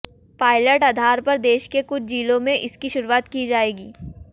pilot आधार पर देश के कुछ जिलों में इसकी शुरुआत की जायेगी